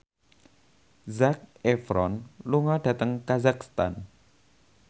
Zac Efron lunga dhateng kazakhstan